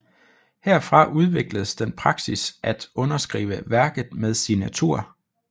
Herfra udvikledes den praksis at underskrive værket med signatur